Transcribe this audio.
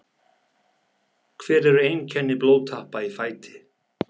Hver eru einkenni blóðtappa í fæti?